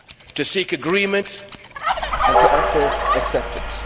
to seek agreement and to offer acceptance.